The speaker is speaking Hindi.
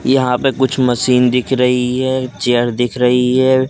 यहां पे कुछ मशीन दिख रही है एक चेयर दिख रही है।